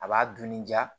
A b'a dun ni diya